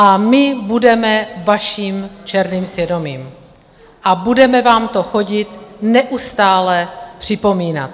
A my budeme vaším černým svědomím a budeme vám to chodit neustále připomínat.